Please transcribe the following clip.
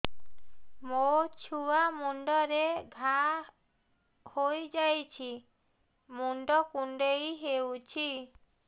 ମୋ ଛୁଆ ମୁଣ୍ଡରେ ଘାଆ ହୋଇଯାଇଛି ମୁଣ୍ଡ କୁଣ୍ଡେଇ ହେଉଛି